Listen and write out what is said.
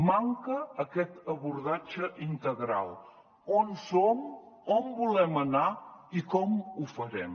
manca aquest abordatge integral on som on volem anar i com ho farem